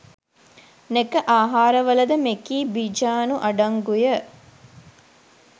නෙක ආහාරවලද මෙකී බිජානු අඩංගුය